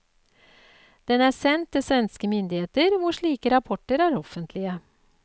Den er sendt til svenske myndigheter, hvor slike rapporter er offentlige.